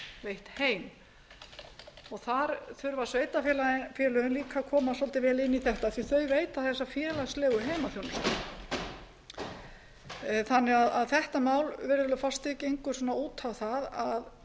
veitt heim þar þurfa sveitarfélögin líka að koma svolítið vel inn í þetta því þau veita þessa félagslegu heimaþjónustu þannig að þetta mál virðulegi forseti gengur svolítið út á það